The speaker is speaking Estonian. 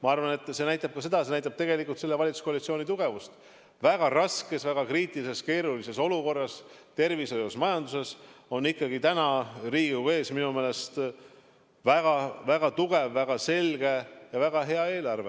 Ma arvan, et see näitab tegelikult selle valitsuskoalitsiooni tugevust: väga raskes, väga kriitilises, keerulises olukorras tervishoius ja majanduses on ikkagi täna Riigikogu ees minu meelest väga-väga tugev, väga selge ja väga hea eelarve.